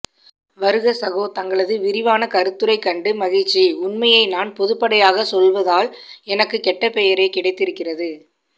வருக சகோ தங்களது விரிவான கருத்துரை கண்டு மகிழ்ச்சி உண்மையை நான் பொதுப்படையாக சொல்வதால் எனக்கு கெட்டபெயரே கிடைத்து இருக்கிறது